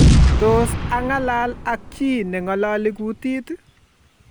tos ang'alal ak chii ne ngaloli kutit